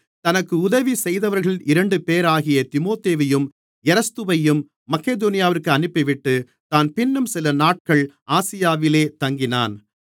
தனக்கு உதவி செய்தவர்களில் இரண்டுபேராகிய தீமோத்தேயுவையும் எரஸ்துவையும் மக்கெதோனியாவிற்கு அனுப்பிவிட்டு தான் பின்னும் சிலநாட்கள் ஆசியாவிலே தங்கினான்